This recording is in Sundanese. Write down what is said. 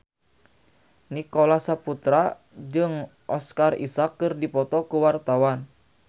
Nicholas Saputra jeung Oscar Isaac keur dipoto ku wartawan